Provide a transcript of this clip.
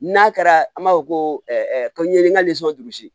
N'a kɛra an b'a fɔ ko ko n ye n ka durusi